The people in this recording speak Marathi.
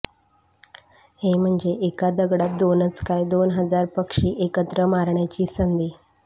हे म्हंजे एका दगडात दोनच काय दोन हजार पक्षी एकत्र मारण्याची संधी